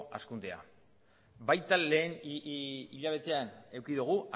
hazkundea baita lehen hilabetean eduki dugu